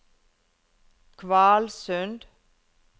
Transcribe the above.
Kvalsund